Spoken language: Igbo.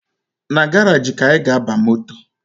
Na garaji ka anyị ga-aba moto